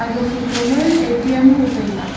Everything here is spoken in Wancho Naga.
aga photo ma A T M ho taiga.